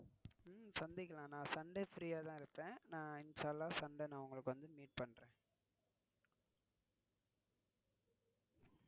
உம் சந்திக்கலாம் நான் Sunday இன்ஷா அல்லாஹ் Sunday உங்களுக்கு வந்து meet பன்றேன்.